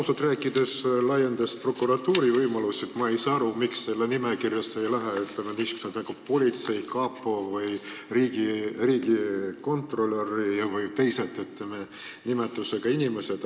Ausalt rääkides, laiendati prokuratuuri võimalusi, aga ma ei saa aru, miks sellesse nimekirja ei lähe näiteks sellised asutused nagu politsei või kapo või riigikontrolör või teised sellise nimetusega inimesed.